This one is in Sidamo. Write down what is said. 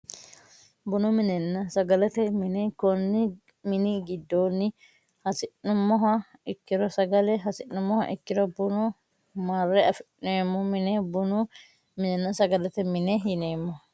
Bunu minenna sagalete mine konni mini giddoonni hasi'nummoha ikkiro sagale hasi'nummoha ikkiro buna marre afi'neemmo mine bunu minenna sagalete mine yineemmo